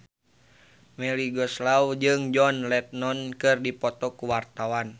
Melly Goeslaw jeung John Lennon keur dipoto ku wartawan